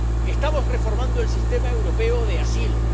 Estamos reformando el sistema europeo de asilo